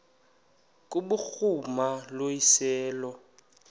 kubhuruma lo iseso